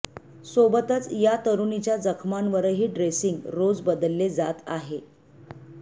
सोबतच या तरुणीच्या जखमांवरही ड्रेसिंग रोज बदलले जात आहे